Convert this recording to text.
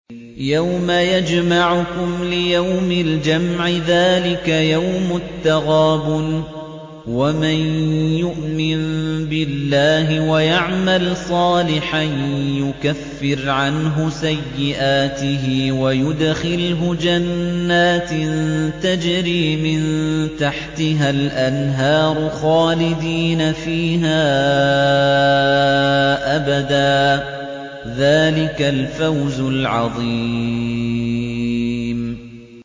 يَوْمَ يَجْمَعُكُمْ لِيَوْمِ الْجَمْعِ ۖ ذَٰلِكَ يَوْمُ التَّغَابُنِ ۗ وَمَن يُؤْمِن بِاللَّهِ وَيَعْمَلْ صَالِحًا يُكَفِّرْ عَنْهُ سَيِّئَاتِهِ وَيُدْخِلْهُ جَنَّاتٍ تَجْرِي مِن تَحْتِهَا الْأَنْهَارُ خَالِدِينَ فِيهَا أَبَدًا ۚ ذَٰلِكَ الْفَوْزُ الْعَظِيمُ